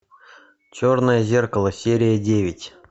черное зеркало серия девять